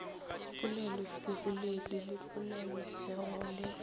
poleloseboledi le polelopego le go